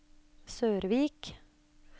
Sørvik